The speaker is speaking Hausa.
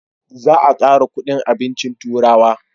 Za a kara kudin abincin turawa